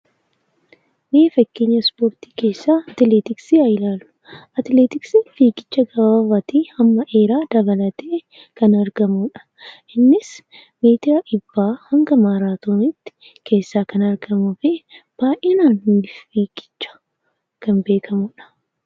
Mee fakkeenya Ispoortii keessaa atileetiksii haa ilaallu. Atileetiksiin fiigicha gabaabaadhaa hanga dheeraatti dabalatee kan argamuudha. Atileetiksiin gosoota ispoortii jaallatamoo fi daawwatamoo keessaa isa adda dureedha.